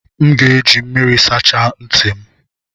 M ga-eji mmiri sachaa ntị m